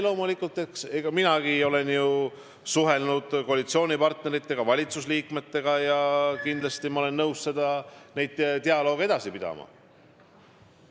Loomulikult ma olen suhelnud koalitsioonipartneritega, valitsusliikmetega ja kindlasti ma olen nõus neid dialooge edasi pidama.